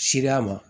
Sereya ma